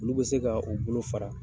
Olu bɛ se ka o bolo fara.